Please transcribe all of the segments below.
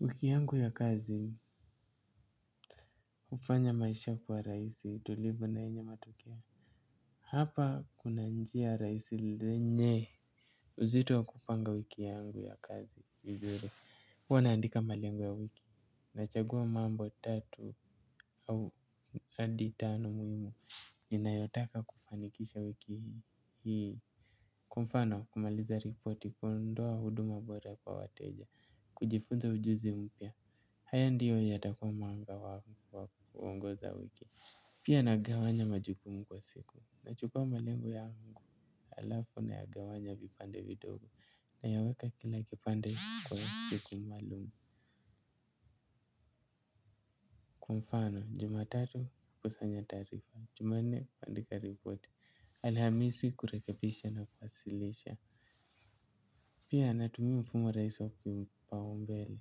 Wiki yangu ya kazi, hufanya maisha kuwa rahisi, tulivu na yenye matokeo. Hapa kuna njia rahisi lenye. Uzito wa kupanga wiki yangu ya kazi vizuri, huwa naandika malengo ya wiki. Nachagua mambo tatu au adi tano muhimu ninayotaka kufanikisha wiki hii. Kwa mfano, kumaliza ripoti, kuondoa huduma bora kwa wateja, kujifunza ujuzi mpya. Haya ndiyo yatakua mwanga wangu wa kuongoza wiki. Pia nagawanya majukumu kwa siku. Nachukua malengo yangu alafu na nagawanya vipande vidogo. Nayaweka kila kipande kwa siku maalum. Kwa mfano, juma tatu kukusanya taarifa. Juma nne, kuanndika ripoti. Alhamisi kurekebisha na kuwasilisha. Pia natumia mfumo rahisi wa kipao mbele.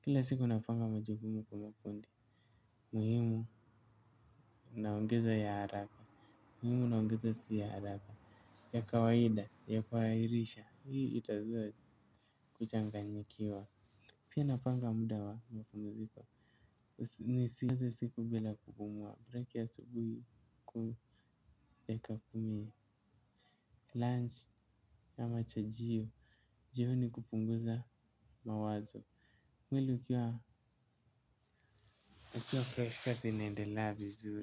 Kila siku napanga majukumu kwa makundi muhimu naongeza ya haraka muhimu na naongeza si ya haraka ya kawaida ya kuahirisha hii itazuia kuchanganyikiwa pia napanga muda wa mapumziko. Nisianze siku bila kupumua. Borake asubuhi dakika kumi lunch au mchajio jioni ni kupunguza mawazo mwili ukiwa freshi kazi inaendelea vizuri.